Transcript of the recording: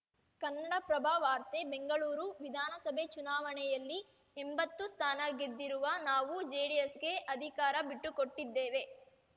ಕನ್ನಡಪ್ರಭ ವಾರ್ತೆ ಬೆಂಗಳೂರು ವಿಧಾನಸಭೆ ಚುನಾವಣೆಯಲ್ಲಿ ಎಂಭತ್ತು ಸ್ಥಾನ ಗೆದ್ದಿರುವ ನಾವು ಜೆಡಿಎಸ್‌ಗೆ ಅಧಿಕಾರ ಬಿಟ್ಟುಕೊಟ್ಟಿದ್ದೇವೆ